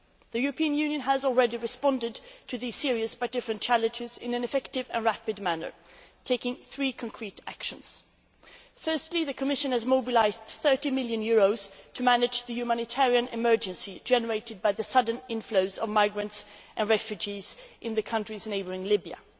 The European Union has already responded to these serious, but different, challenges in an effective and rapid manner, taking three concrete actions. Firstly, the Commission has mobilised EUR 30 million to manage the humanitarian emergency generated by the sudden inflows of migrants and refugees in the countries neighbouring Libya.